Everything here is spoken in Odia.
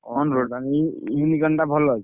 ଇ ଭଲ ଅଛି?